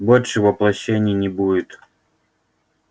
больше воплощений не будет